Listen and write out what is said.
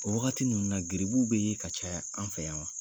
O wagati ninnu na geribuw bɛ yen ka caya an fɛ yan wa?